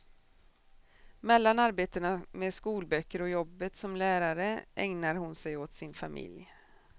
Mellan arbetena med skolböcker och jobbet som lärare ägnar hon sig åt sin familj.